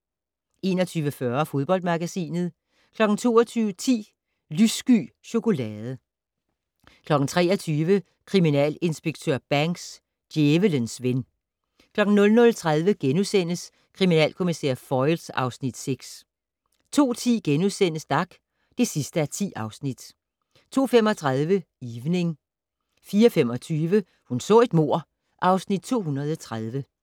21:40: Fodboldmagasinet 22:10: Lyssky chokolade 23:00: Kriminalinspektør Banks: Djævelens ven 00:30: Kriminalkommissær Foyle (Afs. 6)* 02:10: Dag (10:10)* 02:35: Evening 04:25: Hun så et mord (Afs. 230)